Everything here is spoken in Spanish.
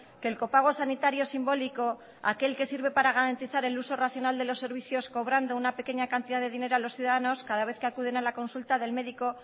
que el copago sanitario simbólico aquel que sirve para garantizar el uso racional de los servicios cobrando una pequeña cantidad de dinero a los ciudadanos cada vez que acuden a la consulta del médico